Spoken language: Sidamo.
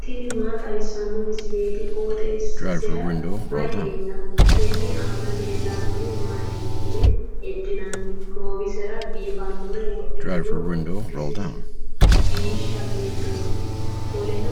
tini maa xawissanno misileeti? qooxeessisera may leellanno? tenne aana leellannori maati yitine heddinanni? goowisera biifannore wodhitino biishsha beettooti, qoleno